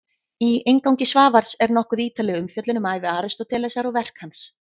Í inngangi Svavars er nokkuð ítarleg umfjöllun um ævi Aristótelesar og verk hans.